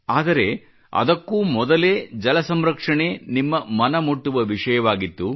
ಆದರೆ ಅದಕ್ಕೂ ಮೊದಲೇ ಜಲಸಂರಕ್ಷಣೆ ನಿಮ್ಮ ಮನ ಮುಟ್ಟುವ ವಿಷಯವಾಗಿತ್ತು